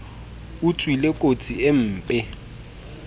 o tswile kotsi e mpe